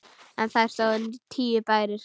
En þar stóðu tíu bæir.